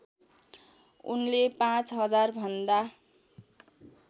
उनले पाँच हजारभन्दा